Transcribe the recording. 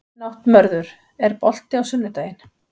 Náttmörður, er bolti á sunnudaginn?